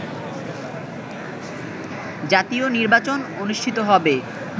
জাতীয় নির্বাচন অনুষ্ঠিত হবে